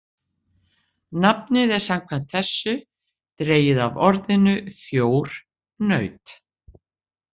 Nafnið er samkvæmt þessu dregið af orðinu þjór, naut.